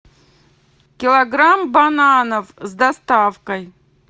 килограмм бананов с доставкой